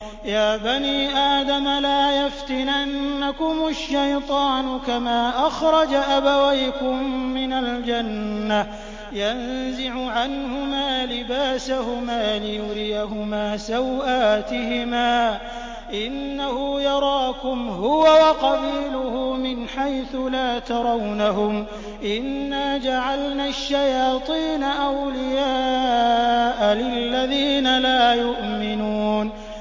يَا بَنِي آدَمَ لَا يَفْتِنَنَّكُمُ الشَّيْطَانُ كَمَا أَخْرَجَ أَبَوَيْكُم مِّنَ الْجَنَّةِ يَنزِعُ عَنْهُمَا لِبَاسَهُمَا لِيُرِيَهُمَا سَوْآتِهِمَا ۗ إِنَّهُ يَرَاكُمْ هُوَ وَقَبِيلُهُ مِنْ حَيْثُ لَا تَرَوْنَهُمْ ۗ إِنَّا جَعَلْنَا الشَّيَاطِينَ أَوْلِيَاءَ لِلَّذِينَ لَا يُؤْمِنُونَ